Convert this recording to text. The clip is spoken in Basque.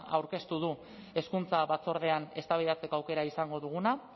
aurkeztu du hezkuntza batzordean eztabaidatzeko aukera izango duguna